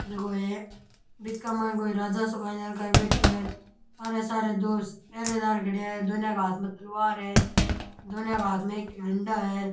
जको ये बीच का माइन कोई राजा सो काई ध्यान काई बैठ्यो है सारे सारे दो पहरेदार खड़ेया है दोनया के हाँथ में तलवार है दोनया के हाँथ में एक एक डंडा है।